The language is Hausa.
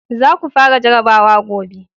za ku fara jarabawa gobe!